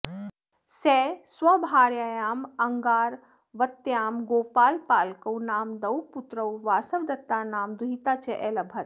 सः स्वभार्यायाम् अंगारवत्याम् गोपालपालकौ नाम द्वौ पुत्रौ वासवदत्ता नाम दुहिता च अलभत